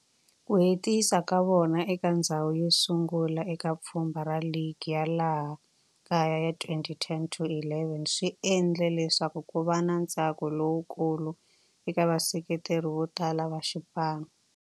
Ku hetisa ka vona eka ndzhawu yosungula eka pfhumba ra ligi ya laha kaya ya 2010 to 11 swi endle leswaku kuva na ntsako lowukulu eka vaseketeri votala va xipano.